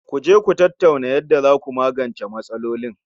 Ku je Ku tattauna yanda zaku magance matsalolin